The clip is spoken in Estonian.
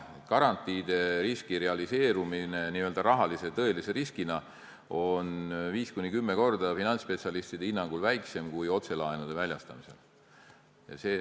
Garantiide riski realiseerumine n-ö tõelise rahalise riskina on finantsspetsialistide hinnangul 5–10 korda väiksem kui otselaenude väljastamise puhul.